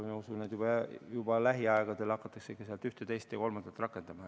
Ma usun, et juba lähiaegadel hakatakse sealt ühte, teist ja kolmandat rakendama.